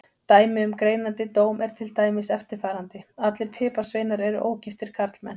Dæmi um greinandi dóm er til dæmis eftirfarandi: Allir piparsveinar eru ógiftir karlmenn.